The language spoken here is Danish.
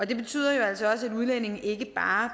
det betyder jo altså også at udlændinge ikke bare